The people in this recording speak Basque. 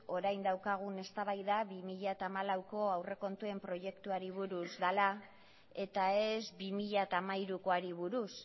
orain daukagun eztabaida bi mila hamalauko aurrekontuen proiektuari buruz dela eta ez bi mila hamairukoari buruz